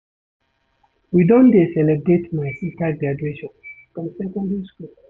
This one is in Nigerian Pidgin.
We don dey celebrate my sista graduation from secondary skool.